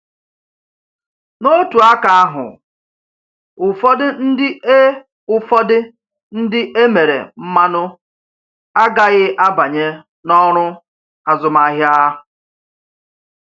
N’otu aka ahụ, ụfọdụ ndị e ụfọdụ ndị e mere mmanụ agaghị abanye n’ọrụ azụmahịa.